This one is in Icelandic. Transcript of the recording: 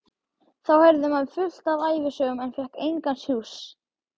Þá heyrði maður fullt af ævisögum en fékk engan sjúss.